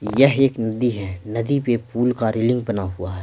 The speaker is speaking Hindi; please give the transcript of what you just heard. यह एक नदी है नदी पे पूल का रेलिंग बना हुआ है।